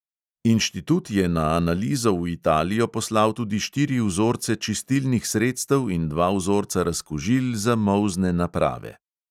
Inštitut je na analizo v italijo poslal tudi štiri vzorce čistilnih sredstev in dva vzorca razkužil za molzne naprave.